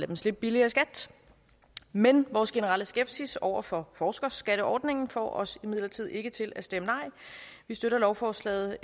dem slippe billigere i skat men vores generelle skepsis over for forskerskatteordningen får os imidlertid ikke til at stemme nej vi støtter lovforslaget